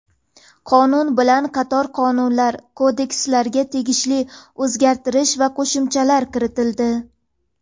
Qonun bilan qator qonunlar va kodekslarga tegishli o‘zgartish va qo‘shimchalar kiritildi.